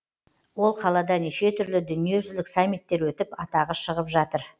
ол қалада неше түрлі дүниежүзілік саммиттер өтіп атағы шығып жатыр